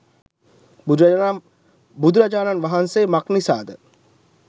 බුදුරජාණන් වහන්සේ මක් නිසාද